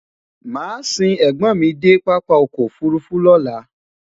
màá sìn ègbón mí dé pápá ọkọ̀ òfurufú lọ́la